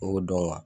I b'o dɔn